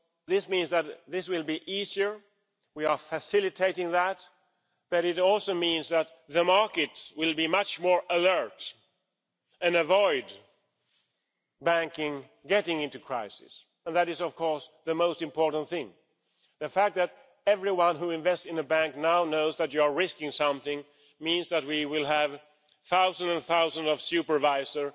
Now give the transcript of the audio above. this means that this will be easier we are facilitating that but it also means that the markets will be much more alert and avoid banking getting into crisis. That is, of course, the most important thing. The fact that everyone who invests in a bank now knows that you are risking something means that we will have thousands and thousands of supervisors